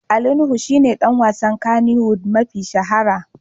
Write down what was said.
Ali Nuhu shi ne ɗan wasan Kannywood mafi shahara.